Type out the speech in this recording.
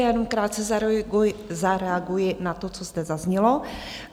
Já jenom krátce zareaguji na to, co zde zaznělo.